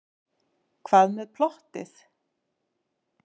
Hvað með plottið?